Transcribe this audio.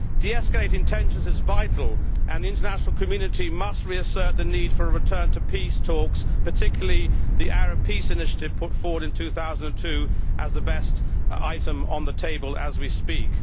De escalating tensions is vital and the international community must reassert the need for a return to peace talks, particularly the Arab peace initiative put forward in 2002, as the best item on the table as we speak.